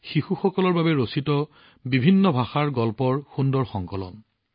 শিশুসকলৰ বাবে বিভিন্ন ভাষাৰ গল্পৰ এক সুন্দৰ সংকলন